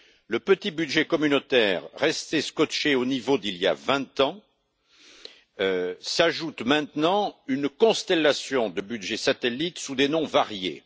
Au petit budget communautaire resté scotché au niveau d'il y a vingt ans s'ajoutent maintenant une constellation de budgets satellites sous des noms variés.